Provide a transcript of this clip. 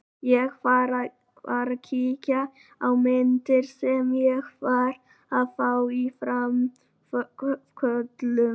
Ég var að kíkja á myndir sem ég var að fá úr framköllun.